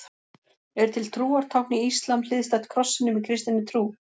Er til trúartákn í íslam hliðstætt krossinum í kristinni trú?